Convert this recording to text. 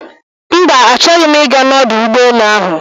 mba, achọghị m iga na ọdụ ụgbọ enu ahụ